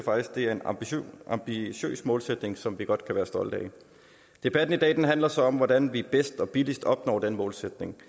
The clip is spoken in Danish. det er en ambitiøs målsætning som vi godt kan være stolte af debatten i dag handler så om hvordan vi bedst og billigst opnår den målsætning